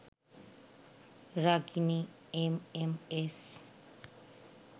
Ragini MMS